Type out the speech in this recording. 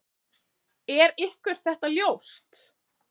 Er ykkur þetta ljóst?